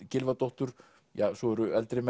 Gylfadóttur ja svo eru eldri